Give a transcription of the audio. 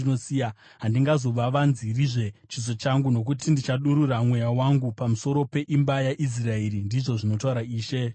Handingazovavanzirizve chiso changu, nokuti ndichadurura Mweya wangu pamusoro peimba yaIsraeri, ndizvo zvinotaura Ishe Jehovha.”